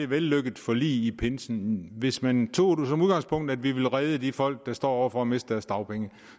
vellykket forlig i pinsen hvis man tog som udgangspunkt at vi ville redde de folk der står over for at miste deres dagpenge